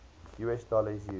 us dollar is used